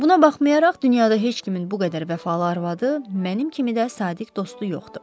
Buna baxmayaraq, dünyada heç kimin bu qədər vəfalı arvadı, mənim kimi də sadiq dostu yoxdur.